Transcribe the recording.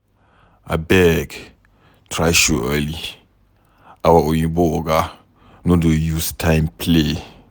Abeg try show early, our oyimbo oga no dey use time play